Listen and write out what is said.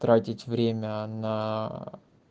тратить время на